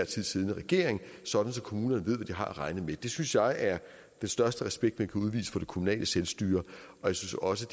tid siddende regering sådan at kommunerne ved hvad de har at regne med det synes jeg er den største respekt man kan udvise for det kommunale selvstyre jeg synes også